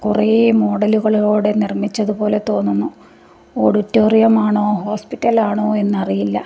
കുറേ മോഡലു കളോടെ നിർമ്മിച്ചത് പോലെ തോന്നുന്നു ഓഡിറ്റോറിയ മാണോ ഹോസ്പിറ്റൽ ആണോ എന്ന് അറിയില്ല.